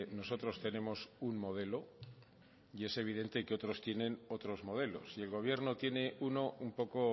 nosotros tenemos un modelo y es evidente que otros tienen otros modelos y el gobierno tiene uno un poco